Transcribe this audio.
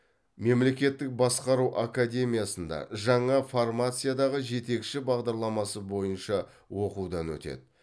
мемлекеттік басқару академиясында жаңа формациядағы жетекші бағдарламасы бойынша оқудан өтеді